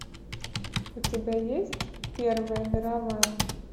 у тебя есть первая мировая